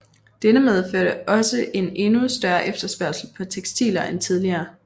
Dette medførte også en endnu større efterspørgsel på tekstiler end tidligere